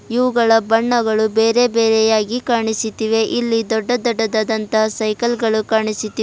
ಇವುಗಳ ಬಣ್ಣಗಳು ಬೇರೆ ಬೇರೆಯಾಗಿ ಕಾಣಿಸುತ್ತಿವೆ ಇಲ್ಲಿ ದೊಡ್ಡ ದೊಡ್ಡದಾದಂತಹ ಸೈಕಲ್ ಗಳು ಕಾಣಿಸುತ್ತಿವೆ.